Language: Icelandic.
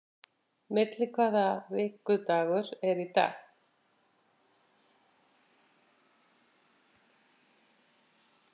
Milli, hvaða vikudagur er í dag?